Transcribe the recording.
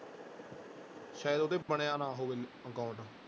ਸ਼ਾਇਦ ਉਹ ਤੇ ਬਣਿਆ ਨਾ ਹੋਵੇ account